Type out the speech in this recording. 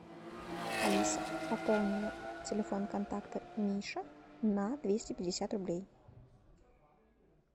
алиса пополни телефон контакта миша на двести пятьдесят рублей